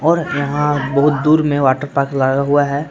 और यहां बहुत दूर में वाटर पार्क लगा हुआ है।